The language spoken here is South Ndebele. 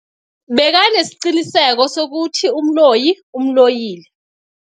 Bekanesiqiniseko sokuthi umloyi umloyile.